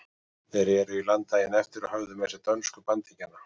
Þeir reru í land daginn eftir og höfðu með sér dönsku bandingjana.